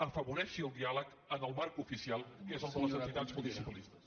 afavoreixi el diàleg en el marc oficial que és el de les entitats municipalistes